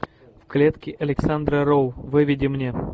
в клетке александра роу выведи мне